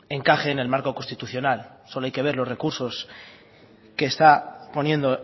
encaje en el marco constitucional solo hay que ver los recursos que está poniendo